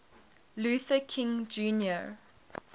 luther king jr